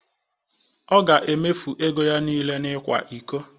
Ọ ga-emefu ego ya niile n'ịkwa iko.